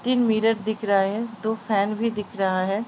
तीन मिरर दिख रहा है दो फ़ैन भी दिख रहा है।